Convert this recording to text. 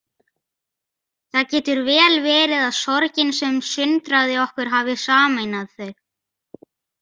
Það getur vel verið að sorgin sem sundraði okkur hafi sameinað þau.